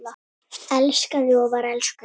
Elskaði og var elskuð.